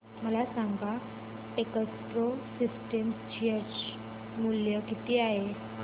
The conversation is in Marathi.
मला सांगा टेकप्रो सिस्टम्स चे शेअर मूल्य किती आहे